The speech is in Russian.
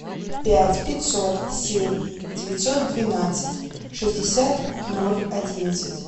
пять пятьсот семь девятьсот двенадцать шестьдесят ноль одиннадцать